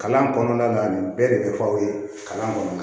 Kalan kɔnɔna na nin bɛɛ de bɛ fɔ aw ye kalan kɔnɔna na